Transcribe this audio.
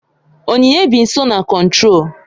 Onyinye bi nso na Kontrol